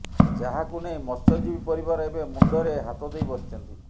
ଯାହାକୁ ନେଇ ମତ୍ସ୍ୟଜୀବୀ ପରିବାର ଏବେ ମୁଣ୍ଡରେ ହାତଦେଇ ବସିଛନ୍ତି